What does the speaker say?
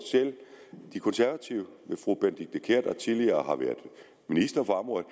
selv de konservative med fru benedikte kiær der tidligere har været minister for området